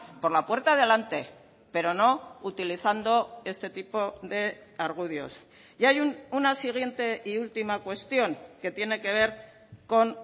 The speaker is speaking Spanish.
por la puerta de delante pero no utilizando este tipo de argudios y hay una siguiente y última cuestión que tiene que ver con